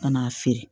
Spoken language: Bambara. Ka n'a feere